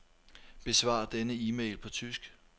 Besvar denne e-mail på tysk.